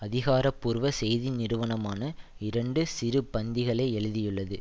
அதிகாரபூர்வ செய்தி நிறுவனமான இரண்டு சிறு பந்திகளை எழுதியுள்ளது